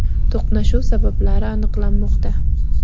To‘qnashuv sabablari aniqlanmoqda.